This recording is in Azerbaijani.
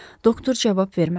Doktor cavab vermədi.